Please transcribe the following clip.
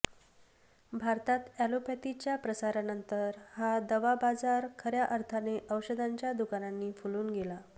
भारतात अॅलोपॅथीच्या प्रसारानंतर हा दवा बाजार खर्या अर्थाने औषधांच्या दुकानांनी फुलून गेला